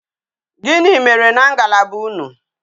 Gini mere na ngalaba unu?